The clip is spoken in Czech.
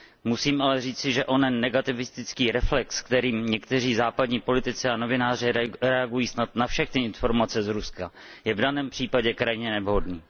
Musím ale říci, že onen negativistický reflex, kterým někteří západní politici a novináři reagují snad na všechny informace z Ruska, je v daném případě krajně nevhodný.